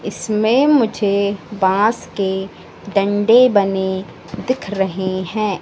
इसमें मुझे बास के डंडे बने दिख रहे हैं।